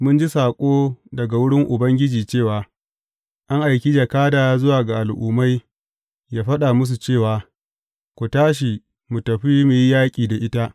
Mun ji saƙo daga wurin Ubangiji cewa, An aiki jakada zuwa ga al’ummai yă faɗa musu cewa, Ku tashi, mu tafi mu yi yaƙi da ita.